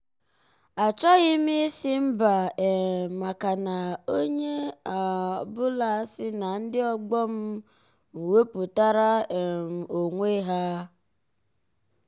achọghị m ịsị mba um maka na onye ọ um bụla si na ndị ọgbọ m m wepụtara um onwe ha.